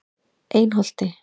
Einholti